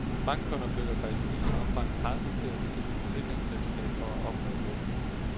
Bankkunder føler sig i stigende omfang presset til at skifte forsikringsselskab for at opnå lån.